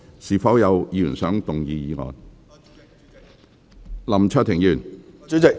是否有議員想動議議案？